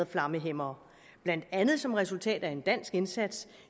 flammehæmmere blandt andet som resultat af en dansk indsats